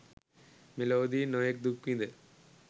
මෙලොවදී නොයෙක් දුක්විඳ